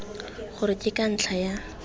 gore ke ka ntlha ya